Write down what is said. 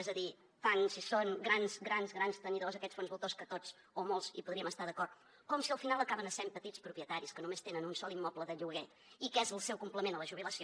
és a dir tant si són grans grans grans tenidors aquests fons voltors que tots o molts hi podríem estar d’acord com si al final acaben essent petits propietaris que només tenen un sol immoble de lloguer i que és el seu complement a la jubilació